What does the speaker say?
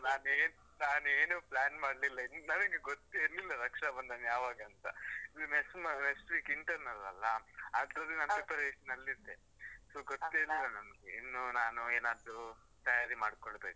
ನಾನ್ ಏನ್ ನಾನ್ ಏನೂ plan ಮಾಡ್ಲಿಲ್ಲ ನನಗೆ ಗೊತ್ತೇ ಇರ್ಲಿಲ್ಲ ರಕ್ಷಾಬಂಧನ್ ಯಾವಾಗಂತ. ಇದು next ಮ, next week internals ಅಲ್ಲಾ, ಅದ್ರದ್ದು ನಾನು preparation ಲ್ಲಿ ಇದ್ದೆ. so ಗೊತ್ತೇ ಇಲ್ಲ ನಂಗೆ. ಇನ್ನು ನಾನ್ ಏನಾದ್ರು ತಯಾರಿ ಮಾಡ್ಕೊಳ್ಬೇಕು.